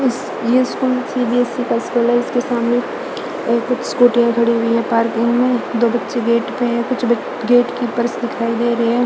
इस ये school CBSE का स्कूल है इसके सामने और कुछ स्कूटियां खड़ी हुई है पार्किंग मे दो बच्चे गेट पे है कुछ गेट के पास दिखाई दे रहे है।